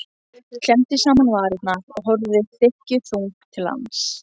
Klemmdi saman varirnar og horfði þykkjuþung til lands.